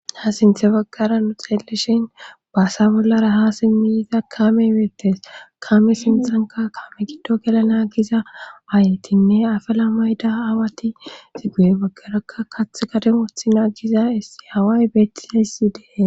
ha sinthe baggara nu xeellishin baasa bollara ha simmiyiza kame imetes kame sinthanka kame giddo gelana giza aayetinne afala mayda aawati ziguye baggaraka kath kademothi na giza issi haway beettizayssi dee